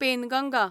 Penganga